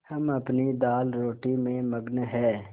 हम अपनी दालरोटी में मगन हैं